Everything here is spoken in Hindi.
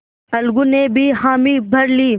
अलगू ने भी हामी भर ली